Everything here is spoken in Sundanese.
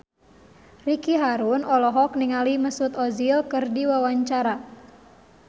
Ricky Harun olohok ningali Mesut Ozil keur diwawancara